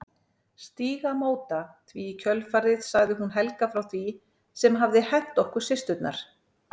Stígamóta því í kjölfarið sagði hún Helga frá því sem hafði hent okkur systurnar.